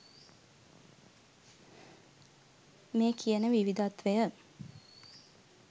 මේ කියන විවිධත්වය